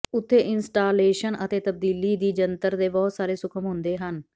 ਉੱਥੇ ਇੰਸਟਾਲੇਸ਼ਨ ਅਤੇ ਤਬਦੀਲੀ ਦੀ ਜੰਤਰ ਦੇ ਬਹੁਤ ਸਾਰੇ ਸੂਖਮ ਹੁੰਦੇ ਹਨ